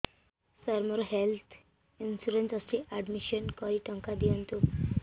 ସାର ମୋର health insurance ଅଛି admission କରି ଟଙ୍କା ଦିଅନ୍ତୁ